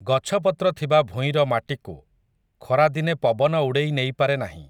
ଗଛପତ୍ର ଥିବା ଭୂଇଁର ମାଟିକୁ, ଖରାଦିନେ ପବନ ଉଡ଼େଇ ନେଇପାରେ ନାହିଁ ।